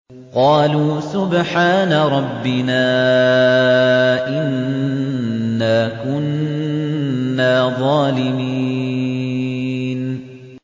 قَالُوا سُبْحَانَ رَبِّنَا إِنَّا كُنَّا ظَالِمِينَ